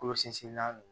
Kolo sinsinna